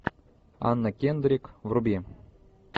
анна кендрик вруби